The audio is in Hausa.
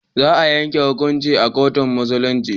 Za a yanke hukuncin a kotun Musulunci.